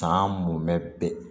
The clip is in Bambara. San mɔmɛ